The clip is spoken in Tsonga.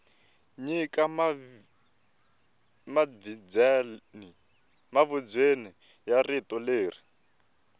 nyika mavizweni wa rito leri